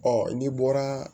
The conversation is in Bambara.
Ɔ n'i bɔra